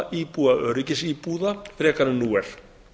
íbúa öryggisíbúða frekar en nú er